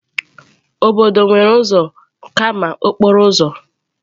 Obodo nwere ụzọ kama okporo ụzọ.